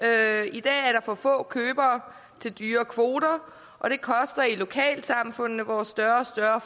i dag er der for få købere til dyrere kvoter og det koster i lokalsamfundene hvor større og større